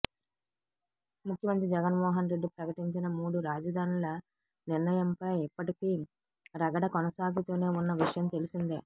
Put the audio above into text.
ముఖ్యమంత్రి జగన్మోహన్ రెడ్డి ప్రకటించిన మూడు రాజధానిల నిర్ణయంపై ఇప్పటికీ రగడ కొనసాగుతూనే ఉన్న విషయం తెలిసిందే